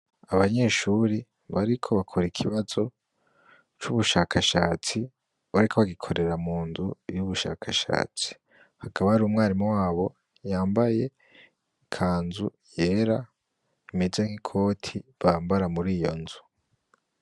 Abanyeshuri bariko bakora ikibazo c'ubushakashatsi bariko bagikorera mu nzu y' ubushakashatsi hakaba hariho umwarimu wabo yambaye ikanzu yera imeze nk'ikoti bambara muri iyo nzu.